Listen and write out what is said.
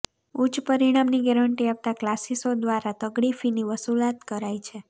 ઉચ્ચ પરિણામની ગેરંટી આપતા ક્લાસિસઓ દ્વારા તગડી ફીની વસુલાત કરાય છે